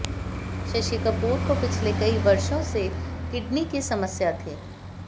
शशि कपूर को पिछले कई वर्षों से किडनी की समस्या थी